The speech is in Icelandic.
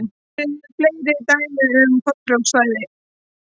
Eru til fleiri dæmi um tollfrjáls svæði?